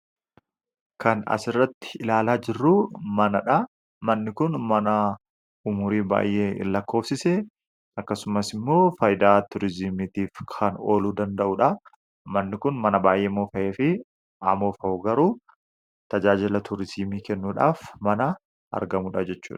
Kan as irratti ilaalaa jirru manadha. Manni kun, mana umrii baay'ee lakkoofsise; akkasumas, faayidaa tuurizimiitiif kan oolu danda'udha. Manni kun, mana baay'ee moofa'e ta'uyyuu tajaajila tuurizimii kennuuf kan ooludha.